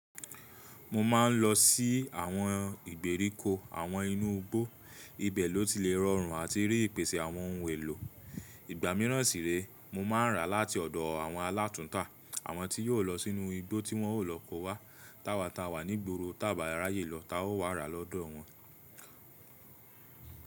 Mo máa ń lọ sí àwọn ìgbèríko àwọn inú igbó, ibẹ̀ ló ti lè rọrùn àti rí ìpèsè àwọn ohun èlò. Ìgbà míràn sì réè, mo máa ń ràá láti ọ̀dọ̀ àwọn alátùńtà, àwọn tí yóò lọ sínú igbó tí wọn ó lọ ko wá. Táwa táa wà nígboro táà bá ráyè lọ ta ó wá ràá lọ́dọ̀ wọn.